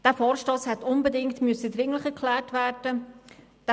Dieser Vorstoss hätte unbedingt dringlich erklärt werden müssen.